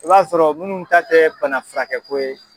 I b'a sɔrɔ minnu ta tɛ bana furakɛko ye.